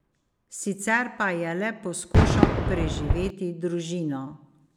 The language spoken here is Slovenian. Sicer pa je le poskušal preživeti družino.